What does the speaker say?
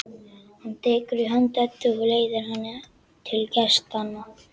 Hann tekur í hönd Eddu og leiðir hana til gestanna.